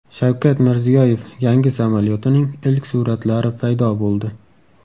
Shavkat Mirziyoyev yangi samolyotining ilk suratlari paydo bo‘ldi .